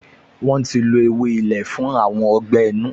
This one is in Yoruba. Wọ́n ti lo ewé ilé fún àrùn ọgbẹ́-inú